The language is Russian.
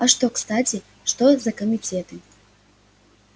а что кстати что за комитеты